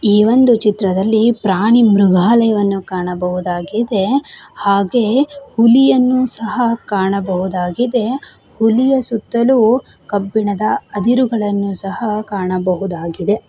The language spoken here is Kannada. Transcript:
ಈ ಒಂದು ಚಿತ್ರದಲ್ಲಿ ಪ್ರಾಣಿ ಮೃಗಾಲಯವನ್ನು ಕಾಣಬಹುದಾಗಿದೆ ಹಾಗೆ ಹುಲಿಯನ್ನು ಸಹ ಕಾಣಬಹುದಾಗಿದೆ. ಹುಲಿಯ ಸುತ್ತಲೂ ಕಬ್ಬಿಣದ ಅದಿರುಗಳನ್ನು ಸಹ ಕಾಣಬಹುದಾಗಿದೆ.